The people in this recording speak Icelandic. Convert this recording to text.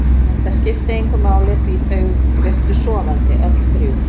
En það skipti engu máli því þau virtust sofandi, öll þrjú.